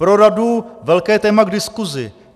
Pro radu velké téma k diskusi.